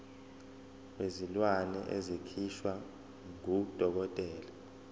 wezilwane esikhishwa ngudokotela